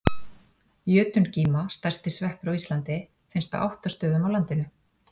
Jötungíma, stærsti sveppur á Íslandi, finnst á átta stöðum á landinu.